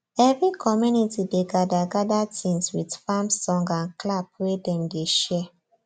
every community dey gather gather tins with farm song and clap wey dem dey share